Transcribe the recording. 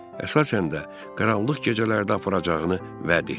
Əsasən də qaranlıq gecələrdə aparacağını vəd etdi.